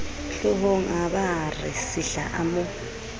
hloohongabaa re sihla a mo